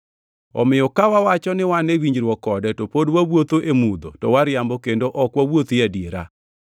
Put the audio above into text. Omiyo ka wawacho ni wan e winjruok kode to pod wawuotho e mudho to wariambo kendo ok wawuothi e adiera.